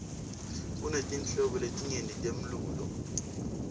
kunetinhlobo letinyeti temlulo